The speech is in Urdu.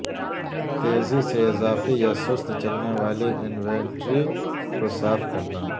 تیزی سے اضافی یا سست چلنے والی انوینٹری کو صاف کرنا